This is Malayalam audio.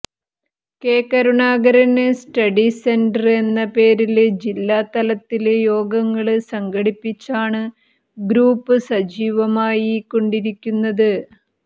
കെ കരുണാകരന് സ്റ്റഡി സെന്റര് എന്ന പേരില് ജില്ലാ തലത്തില് യോഗങ്ങള് സംഘടിപ്പിച്ചാണ് ഗ്രൂപ്പ് സജീവമായി കൊണ്ടിരിക്കുന്നത്